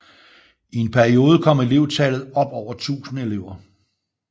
I en periode kom elevtallet op over 1000 elever